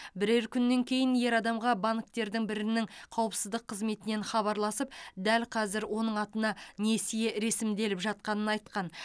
бірер күннен кейін ер адамға банктердің бірінің қауіпсіздік қызметінен хабарласып дәл қазір оның атына несие ресімделіп жатқанын айтқан